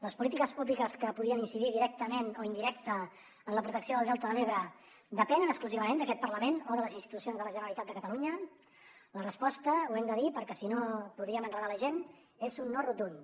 les polítiques públiques que podien incidir directament o indirecta en la protecció del delta de l’ebre depenen exclusivament d’aquest parlament o de les institucions de la generalitat de catalunya la resposta ho hem de dir perquè si no podríem enredar la gent és un no rotund